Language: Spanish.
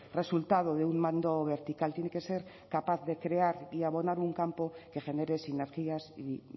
resultado de un mando vertical tiene que ser capaz de crear y abonar un campo que genere sinergias y